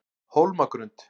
Hólmagrund